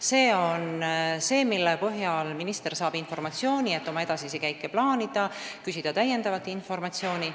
See on informatsioon, mille põhjal saab minister oma edasisi käike plaanida ja küsida täiendavat informatsiooni.